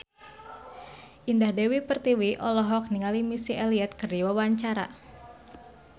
Indah Dewi Pertiwi olohok ningali Missy Elliott keur diwawancara